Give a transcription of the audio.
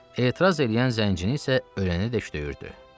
Etiraz eləyən zəncini isə ölənədək döyürdü.